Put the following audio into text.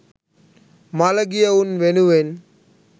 මළගියවුන් වෙනුවෙන්